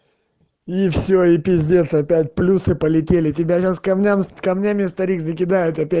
и всё и пиздец опять плюсы полетели тебя сейчас камням с камнями старик закидает опять